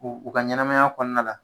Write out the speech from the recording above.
U u ka ɲɛnamaya kɔɔna la